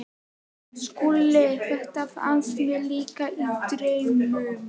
SKÚLI: Þetta fannst mér líka- í draumnum.